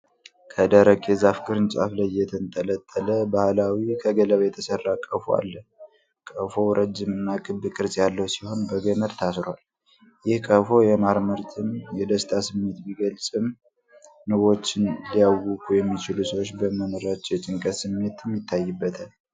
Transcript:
ከደረቅ የዛፍ ቅርንጫፍ ላይ የተንጠለጠለ ባህላዊ፣ ከገለባ የተሰራ ቀፎ አለ። ቀፎው ረጅም እና ክብ ቅርጽ ያለው ሲሆን በገመድ ታስሯል። ይህ ቀፎ የማር ምርትን የደስታ ስሜት ቢገልጽም፣ ንቦችን ሊያውኩ የሚችሉ ሰዎች በመኖራቸው የጭንቀት ስሜትም ይታይበታል።